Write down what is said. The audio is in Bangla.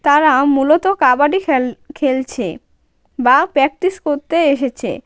তারা মূলত কাবাডি খেল-খেলছে বা প্র্যাকটিস করতে এসেছে.